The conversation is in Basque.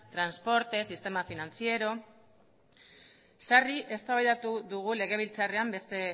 transportes sistema financiero sarri eztabaidatu dugu legebiltzarrean beste